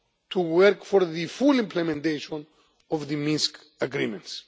more to work for the full implementation of the Minsk agreements.